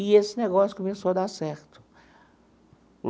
E esse negócio começou a dar certo.